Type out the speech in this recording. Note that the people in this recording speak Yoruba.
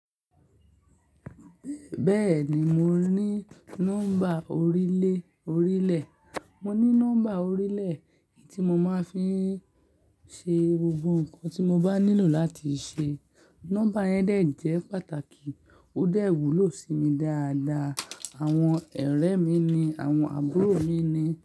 Bẹ́ẹ̀ni, mo ní nọ́mbà orílè, orílè. Mo ní nọ́mbà orílè tí mo máa ń fi ṣe gbogbo nǹkan tí mo bá nílò láti ṣe. Nọ́mbà yẹn dẹ̀ jẹ́ pàtàkì, ó dẹ̀ wúlò sí mi dáadáa. Àwọn ọ̀rẹ́ mi ni, àwọn àbúrò mi ni.